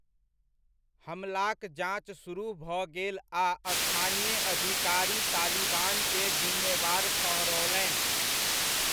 हमलाक जॉंच सुरुह भऽ गेल आ स्थानीय अधिकारी तालिबानकेँ जिम्मेवार ठहरओलनि।